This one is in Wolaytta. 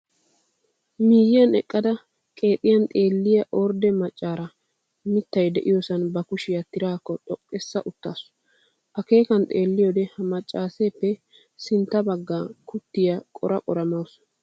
Miyyiyan eqqada qeexiyan xeelliya ordde maccaara mittay de"iyosan ba kushiya tiraakko xoqqissa uttaasu. Akeekan xeelliyoode ha maccaarippe sinttaara bangga kuttiya qora qora mawusu.